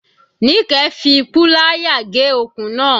Nike fi púláyà gé okùn náà.